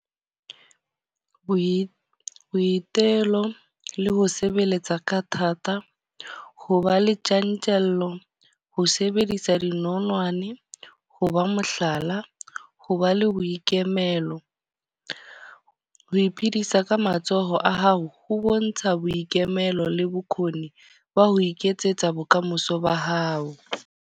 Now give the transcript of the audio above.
Boitelo le ho sebeletsa ka thata. Ho ba le tjantjello, ho sebedisa di nonwane, ho ba mohlala la ho ba le boikemelo. Ho iphedisa ka matsoho a hao ho bontsha boikemelo le bokgoni ba ho iketsetsa bokamoso ba hao.